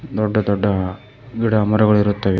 ದೊಡ್ಡ ದೊಡ್ಡ ಗಿಡ ಮರಗಳು ಇರುತ್ತವೆ.